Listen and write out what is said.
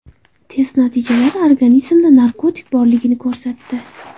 Test natijalari organizmda narkotik borligini ko‘rsatdi.